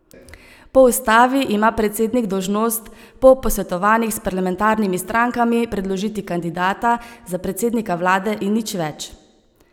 Po ustavi ima predsednik dolžnost po posvetovanjih s parlamentarnimi strankami predložiti kandidata za predsednika vlade in nič več.